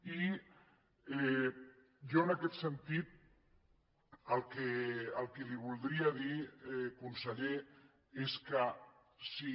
i jo en aquest sentit el que li voldria dir conseller és que si